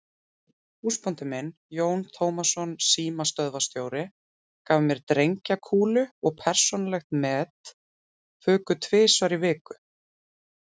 Húsbóndi minn, Jón Tómasson símstöðvarstjóri, gaf mér drengjakúlu og persónuleg met fuku tvisvar í viku.